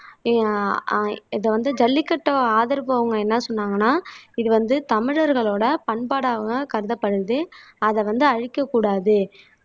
ஆஹ் இதை வந்து ஜல்லிக்கட்டு ஆதரவு அவங்க என்ன சொன்னாங்கன்னா இது வந்து தமிழர்களோட பண்பாடாக கருதப்படுது அதை வந்து அழிக்கக் கூடாது